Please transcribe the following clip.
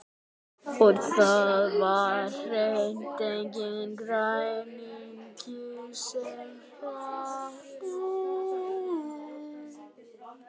Og það var hreint enginn græningi sem hreppti.